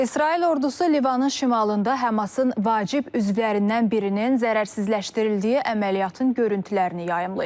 İsrail ordusu Livanın şimalında Həmasın vacib üzvlərindən birinin zərərsizləşdirildiyi əməliyyatın görüntülərini yayımlayıb.